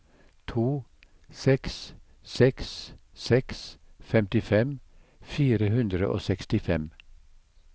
to seks seks seks femtifem fire hundre og sekstifem